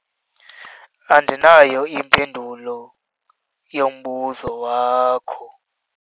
Andinayo impendulo yombuzo wakho.